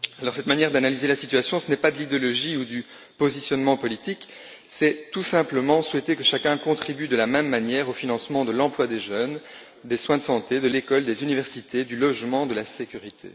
Cette manière d'analyser la situation n'est pas de l'idéologie ou du positionnement politique, il s'agit tout simplement de souhaiter que chacun contribue de la même manière au financement de l'emploi des jeunes, des soins de santé, de l'école, des universités, du logement ou de la sécurité.